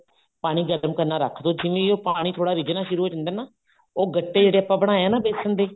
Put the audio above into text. ਪਾਣੀ ਗਰਮ ਕਰਨਾ ਰੱਖ ਦੋ ਜਿਵੇਂ ਹੀ ਪਾਣੀ ਥੋੜਾ ਰਿੱਝਣਾ ਸ਼ੁਰੂ ਹੋ ਜਾਂਦਾ ਨਾ ਉਹ ਗੱਟੇ ਜਿਹੜੇ ਆਪਾਂ ਬਣਾਏ ਆ ਨਾ ਬੇਸਨ ਦੇ